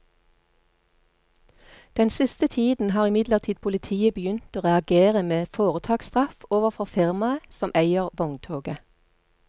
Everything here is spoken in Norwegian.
Den siste tiden har imidlertid politiet begynt å reagere med foretaksstraff overfor firmaet som eier vogntoget.